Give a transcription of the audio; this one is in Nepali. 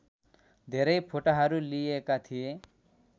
धेरै फोटाहरू लिइएका थिए